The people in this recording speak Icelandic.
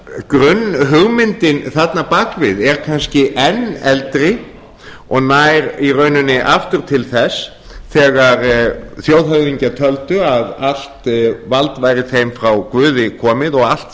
grunnhugmyndin þarna bak við er kannski enn eldri og nær í rauninni aftur til þess þegar þjóðhöfðingjar töldu að allt vald væri þeim frá guði komið og allt